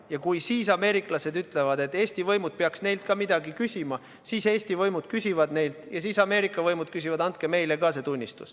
Ja kui siis ameeriklased ütlevad, et Eesti võimud peaks neilt ka midagi küsima, siis Eesti võimud küsivad neilt ja siis Ameerika võimud küsivad, andke meile ka see tunnistus.